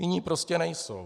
Jiní prostě nejsou.